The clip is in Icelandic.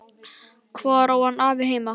Hvar á hann afi þinn heima?